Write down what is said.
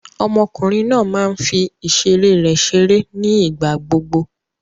Ọmọkùnrin náà máa ń fi ìṣeré rẹ̀ ṣeré ní ìgbà gbogbo.